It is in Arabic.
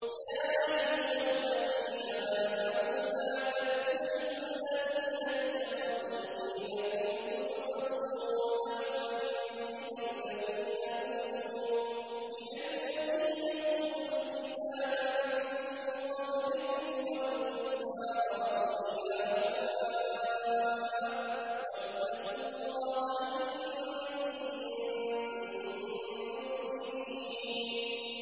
يَا أَيُّهَا الَّذِينَ آمَنُوا لَا تَتَّخِذُوا الَّذِينَ اتَّخَذُوا دِينَكُمْ هُزُوًا وَلَعِبًا مِّنَ الَّذِينَ أُوتُوا الْكِتَابَ مِن قَبْلِكُمْ وَالْكُفَّارَ أَوْلِيَاءَ ۚ وَاتَّقُوا اللَّهَ إِن كُنتُم مُّؤْمِنِينَ